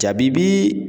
Jaabi bi